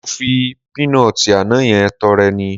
Mo fi píínọọ̀tì àná yẹn tọrẹ ni